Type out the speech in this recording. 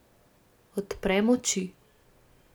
Odprem oči.